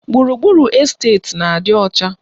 Gburugburu esteti na-adị ọcha